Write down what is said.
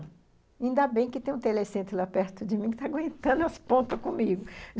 Ainda bem que tem um telecentro lá perto de mim que está aguentando as pontas comigo,